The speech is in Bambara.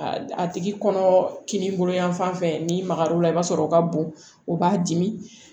A tigi kɔnɔ kininbolo yan fan fɛ n'i magar'o la i b'a sɔrɔ o ka bon o b'a dimi